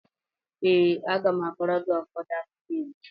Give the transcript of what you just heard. Ee, a ga m akọrọ gị ụfọdụ akụkọ Igbo.